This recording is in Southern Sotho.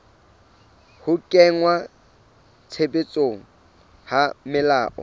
ho kenngwa tshebetsong ha melao